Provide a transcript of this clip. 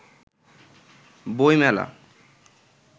বই মেলা